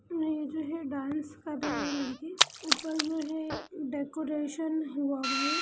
ये जो हैं डांस कर रहे हैं लड़की ऊपर जो है डेकोरेशन हुआ हुआ है।